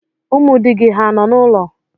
Ụmụ di gị hà nọ n'ụlọ?